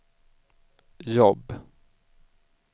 jobb